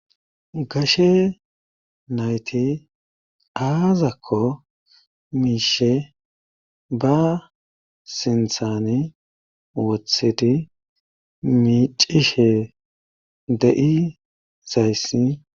gashe nayti aazakko miishe ba sinthani wothidi miicishe de7i zayssi